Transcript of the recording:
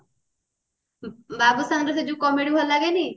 ବାବୁଶାନ ର ସେ ଯାଉ comedy ଭଲ ଲାଗେନି